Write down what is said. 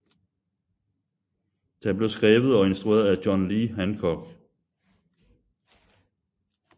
Den blev skrevet og instrueret af John Lee Hancock